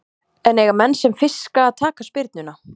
En eiga menn sem fiska að taka spyrnuna?